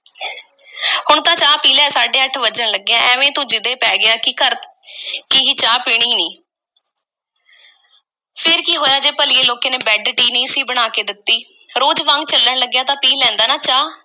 ਹੁਣ ਤਾਂ ਚਾਹ ਪੀ ਲੈ, ਸਾਢੇ ਅੱਠ ਵੱਜਣ ਲੱਗੇ ਐ। ਐਵੇਂ ਤੂੰ ਜਿਦੇ ਪੈ ਗਿਆ ਕਿ ਘਰ ਕਿ ਹੀ ਚਾਹ ਪੀਣੀ ਨਹੀਂ। ਫੇਰ ਕੀ ਹੋਇਆ ਜੇ ਭਲੀਏ ਲੋਕੇ ਨੇ bed tea ਨਹੀਂ ਸੀ ਬਣਾ ਕੇ ਦਿੱਤੀ, ਰੋਜ਼ ਵਾਂਗ ਚੱਲਣ ਲੱਗਿਆ ਤਾਂ ਪੀ ਲੈਂਦਾ ਨਾ ਚਾਹ।